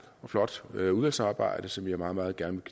og flot udvalgsarbejde som jeg meget meget gerne